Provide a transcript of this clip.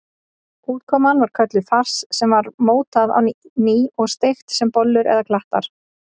Útkoman var kölluð fars sem var mótað á ný og steikt sem bollur eða klattar.